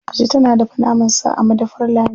Dije tana dafa naman sa a madafar Lami.